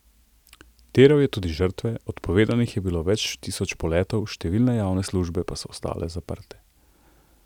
Terjal je tudi žrtve, odpovedanih je bilo več tisoč poletov, številne javne službe pa so ostale zaprte.